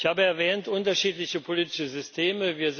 Ich habe erwähnt unterschiedliche politische Systeme.